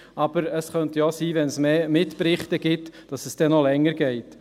Aber es könnte auch sein, dass es, wenn es Mitberichte gibt, noch länger dauert.